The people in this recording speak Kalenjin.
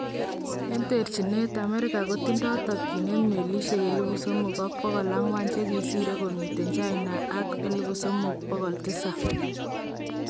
En terchineet, Amerika kotindo tokyinet melisyek 3,400 chekikisiir komiten China ak 3700